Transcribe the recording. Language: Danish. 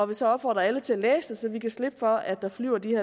vil så opfordre alle til at læse det så vi kan slippe for at der flyver de